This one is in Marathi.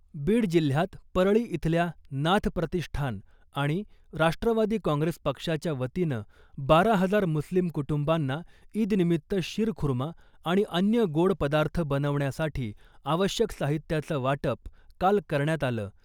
बीड जिल्ह्यात परळी इथल्या नाथ प्रतिष्ठान आणि राष्ट्रवादी काँग्रेस पक्षाच्या वतीनं बारा हजार मुस्लिम कुटुंबांना ईदनिमित्त शिरखुर्मा आणि अन्य गोड पदार्थ बनवण्यासाठी आवश्यक साहित्याचं वाटप काल करण्यात आलं .